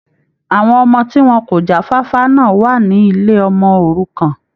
Àwọn ọmọ tí wọn kò já fáfá náà wà ní ilé ọmọ òrukàn.